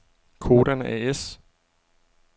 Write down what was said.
Codan A/S